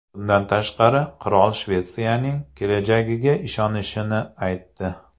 Bundan tashqari, qirol Shvetsiyaning kelajagiga ishonishini aytdi.